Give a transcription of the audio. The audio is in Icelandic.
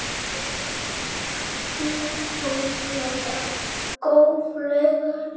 Hið guðlega góðlega ljós.